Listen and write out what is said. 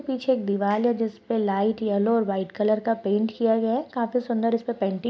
पीछे एक दीवाल है जिस पर लाइट येलो और व्हाइट कलर का पेंट किया गया है काफी सुंदर इस पे पेंटिंग --